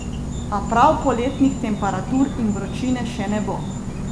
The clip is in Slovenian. A prav poletnih temperatur in vročine še ne bo.